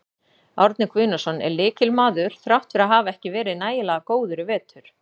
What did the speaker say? Árni Guðnason er lykilmaður þrátt fyrir að hafa ekki verið nægilega góður í vetur.